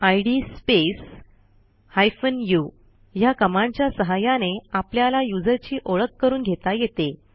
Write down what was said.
इद space hyphen u ह्या कमांडच्या सहाय्याने आपल्याला युजरची ओळख करून घेता येते